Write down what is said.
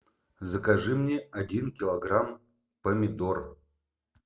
закажи мне один килограмм помидор